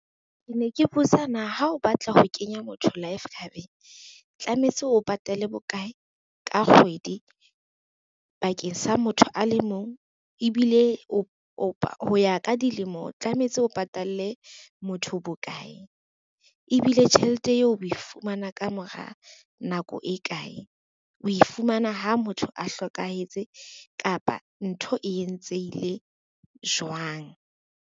Ke ne ke botsa na ha o batla ho kenya motho life cover-ng tlametse o patale bokae ka kgwedi bakeng sa motho a le mong. Ebile o ho ya ka dilemo, tlametse o patalle motho bo kae? Ebile tjhelete eo o e fumana ka mora nako e kae? O e fumana ha motho a hlokahetse kapa ntho e entsehile jwang?